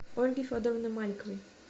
ольги федоровны маликовой